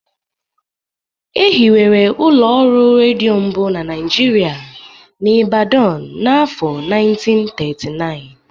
E hiwere ụlọ ọrụ redio mbụ na Nigeria n'Ibadan n'afọ 1939